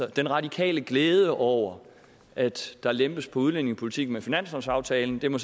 den radikale glæde over at der lempes på udlændingepolitikken med finanslovsaftalen må